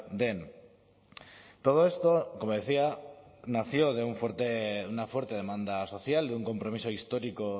den todo esto como decía nació de una fuerte demanda social de un compromiso histórico